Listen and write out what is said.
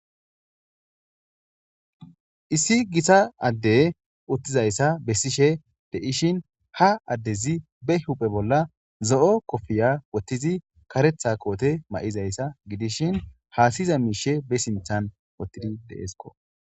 issi gita addey uttizayssa bessishe deishin ha addezi be huphe bolla zo7o kofiya wottizi karetha koote ma7izayssa gidishin haasiza miishe be sinthan wottidi deeskko.